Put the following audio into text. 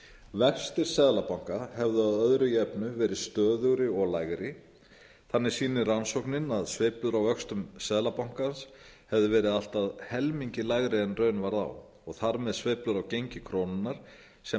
vextir seðlabanka hefðu að öðru jöfnu verið stöðugri og lægri þannig sýnir rannsóknin að sveiflur á vöxtum seðlabankans hefðu getað verið allt að helmingi lægri en raun varð á og þar með sveiflur á gengi krónunnar sem